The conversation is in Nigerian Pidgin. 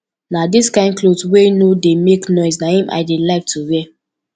na dis kin cloth wey no dey make noise na im i dey like to wear